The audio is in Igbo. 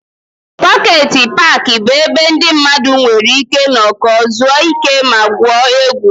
Pọket paaki bụ ebe ndị mmadụ nwere ike nọkọọ, zuo ike ma gwuo egwu.